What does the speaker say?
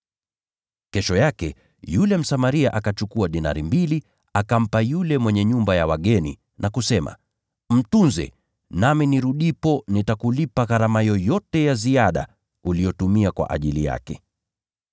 Kesho yake, yule Msamaria akachukua dinari mbili akampa yule mwenye nyumba ya wageni na kusema, ‘Mtunze, nami nirudipo nitakulipa gharama yoyote ya ziada uliyotumia kwa ajili yake.’